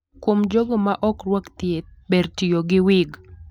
Kuom jogo ma ok rwak thieth, ber tiyo gi wig.